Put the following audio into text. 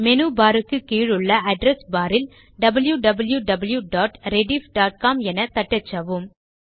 menu bar க்கு கீழுள்ள address bar இல் wwwrediffcom என தட்டச்சவும்